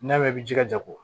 N'i y'a mɛn i bɛ jija ko